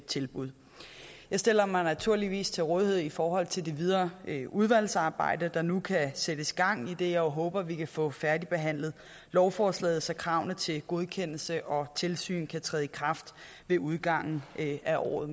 tilbud jeg stiller mig naturligvis til rådighed i forhold til det videre udvalgsarbejde der nu kan sættes i gang idet jeg håber vi kan få færdigbehandlet lovforslaget så kravene til godkendelse og tilsyn kan træde i kraft ved udgangen af året